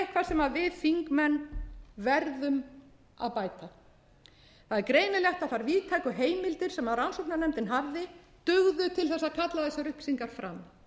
eitthvað sem við þingmenn verðum að bæta það er greinilegt að þær víðtæku heimildir sem rannsóknarnefndin hafði dugðu til að kalla þessar upplýsingar verkfærin sem þingmenn hafa hafa ekki dugað til